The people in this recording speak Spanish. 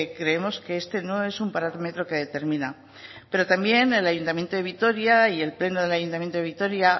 creemos que este no un parámetro que determina pero también el ayuntamiento de vitoria